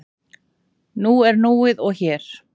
Nú er núið og hér.